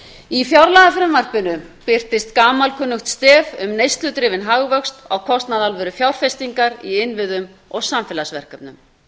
í fjárlagafrumvarpinu birtist gamalkunnugt stef um neysludrifinn hagvöxt á kostnað alvörufjárfestingar í innviðum og samfélagsverkefnum